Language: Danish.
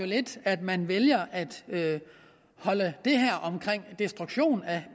lidt at man vælger at holde det her omkring destruktion af